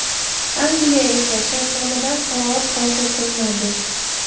Angliya esa shartnomadan qanoat hosil qilmadi.